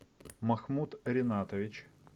махмуд ринатович